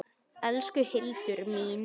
Elsku Hildur mín.